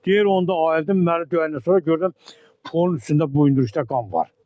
Deyir onda ayıldım məni döyəndən sonra gördüm polin üstündə buyndriqdə qan var.